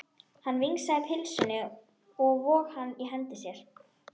Hann vingsaði pylsunni og vóg hana í hendi sér.